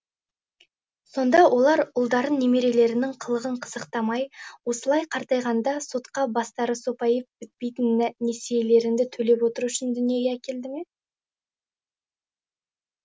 сонда олар ұлдарын немерелерінің қылығын қызықтамай осылай қартайғанда соқа бастары сопайып бітпейтін несиелеріңді төлеп отыру үшін дүниеге әкелді ме